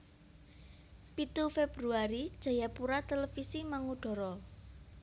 Pitu Februari Jayapura Televisi mangudara